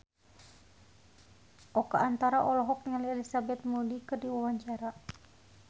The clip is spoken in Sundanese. Oka Antara olohok ningali Elizabeth Moody keur diwawancara